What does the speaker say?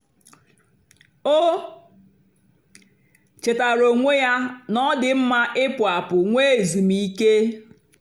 o chétàara onwé ya na ọ́ dị́ mma ị̀pụ́ àpụ́ nwè èzùmkè.